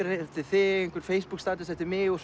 eftir þig einhver Facebook status eftir mig og